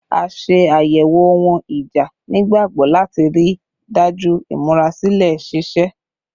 A ṣe ayẹwo ohun ija nigbagbogbo lati rii daju imurasilẹ ṣiṣe